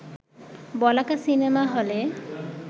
বলাকা cinema হলে